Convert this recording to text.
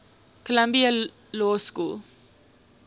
columbia law school